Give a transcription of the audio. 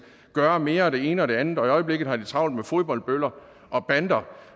gøre mere af det ene og det andet og i øjeblikket har de travlt med fodboldbøller og bander